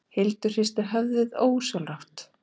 Hildur hristi höfuðið ósjálfrátt.